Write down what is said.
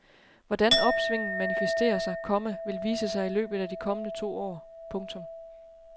Hvordan opsvinget manifesterer sig, komma vil vise sig i løbet af de kommende to år. punktum